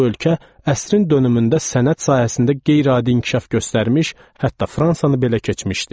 Bu ölkə əsrin dönümündə sənət sahəsində qeyri-adi inkişaf göstərmiş, hətta Fransanı belə keçmişdi.